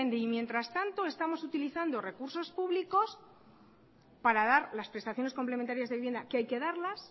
y mientras tanto estamos utilizando recursos públicos para dar las prestaciones complementarias de vivienda que hay que darlas